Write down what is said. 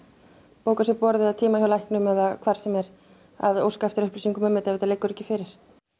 bóka sér borð eða tíma hjá læknum eða hvað sem er að óska eftir upplýsingum um þetta ef þetta liggur ekki fyrir